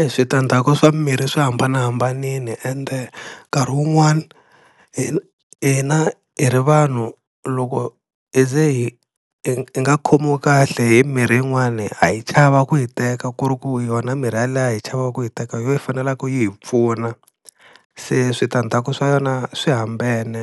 E switandzhaku swa mirhi swa hambanahambanile, ende nkarhi wun'wani hina hi ri vanhu loko hi ze hi hi nga khomiwi kahle hi mirhi yin'wani ha yi chava ku yi teka ku ri ku yona mirhi ya liya hi chavaku ku yi teka hi yona yi fanelaka ku hi pfuna, se switandzhaku swa yona swi hambene